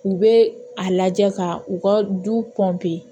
U bɛ a lajɛ ka u ka du kɔn